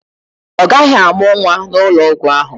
Ọ gaghị amụ nwa n'ụlọ ọgwụ ahụ.